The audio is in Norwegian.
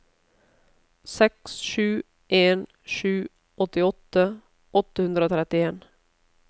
seks sju en sju åttiåtte åtte hundre og trettien